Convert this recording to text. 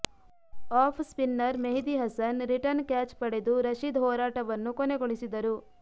of spinner Mehidy Hasan return catch ಪಡೆದು ರಶೀದ್ ಹೋರಾಟವನ್ನು ಕೊನೆಗೊಳಿಸಿದರು